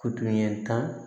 Tutoɲɛ tan